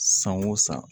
San o san